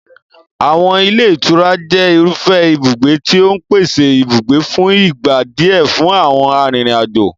Àwọn ilé ìtura jẹ́ irúfẹ́ ibùgbé tí ó ń pèsè ibùgbé fún ìgbà díẹ̀ fún àwọn arìnrìn-àjò.